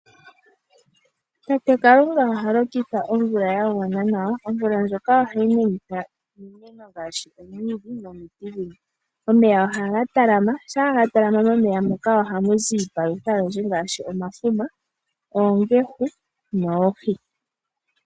Tate Kalunga oha lokitha omvula ya gwana nawa. Omvula ndjoka ohayi menitha iimeno ngaashi omwiidhi nomiti dhilwe. Omeya shampa ga talama. Shampa ga talama ohamu zi iipalutha oyindji ngaashi omafuma, oongehu noohi.